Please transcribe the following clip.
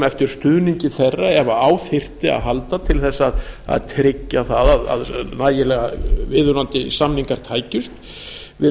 eftir stuðningi þeirra ef á þyrfti að halda til þess að tryggja að nægilega viðunandi samningar tækjust við